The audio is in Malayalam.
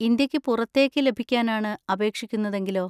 ഇന്ത്യക്ക് പുറത്തേക്ക് ലഭിക്കാനാണ് അപേക്ഷിക്കുന്നതെങ്കിലോ?